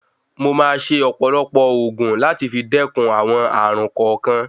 Wọ̀n máa ṣe ọ̀pọ̀lọpọ̀ ògùn láti fi dẹkùn àwọn ààrùn kọ̀ọ̀kan.